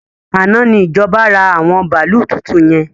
Àná ni ìjọba ra àwọn bàálú tuntun yẹn